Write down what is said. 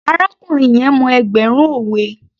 Arákùnrin yẹn mọ ẹgbẹ̀rún òwe